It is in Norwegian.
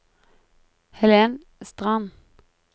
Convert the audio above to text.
Helen Strand